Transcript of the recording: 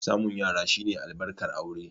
Samun yara shi ne albarkar aure.